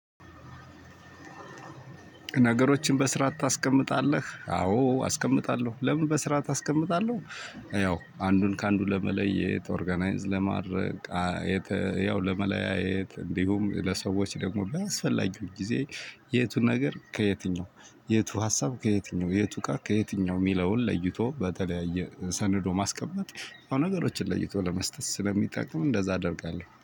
ነገሮችን በስራአት ታስቀምጣለህ አዎ አስቀምጣለሁ ለምን በስራአት አስቀምጣለው ያው አንዱን ከአንዱ ለመለየት ኦርጋናይዝ ለማድረግ። ያው ለመለያየት እንዲሁም ለሰዎች ደግሞ በአስፈልጊ ጊዜ። የቱ ነገር ከየትኛው የቱ ሀሳብ ከየትኛው የቱ እቃ ከየትኛው የሚለውን ለይቶ በተለያየ ሰንዶ ማስቀመጥ ነገሮችን ለይቶ ለመስጠት ስለሚጠቅም እንደዛ እደርጋለሁ